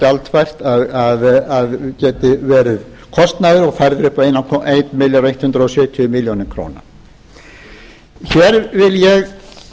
gjaldfært að geti verið kostnaður og færð upp á ellefu hundruð sjötíu milljónum króna hér vil ég